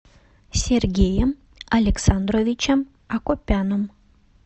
сергеем александровичем акопяном